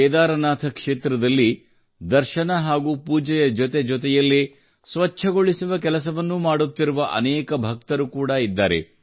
ಕೇದಾರನಾಥ್ ಕ್ಷೇತ್ರದಲ್ಲಿ ದರ್ಶನ ಹಾಗೂ ಪೂಜೆಯ ಜೊತೆ ಜೊತೆಯಲ್ಲೇ ಸ್ವಚ್ಛಗೊಳಿಸುವ ಕೆಲಸವನ್ನೂ ಮಾಡುತ್ತಿರುವ ಅನೇಕ ಭಕ್ತರೂ ಕೂಡಾ ಇದ್ದಾರೆ